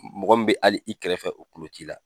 Mɔgɔ min bɛ hali i kɛrɛfɛ o kulo t'i la.